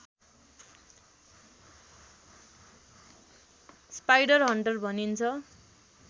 spiderhunter भनिन्छ